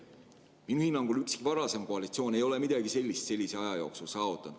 Minu hinnangul ükski varasem koalitsioon ei ole midagi sellist sellise aja jooksul saavutanud.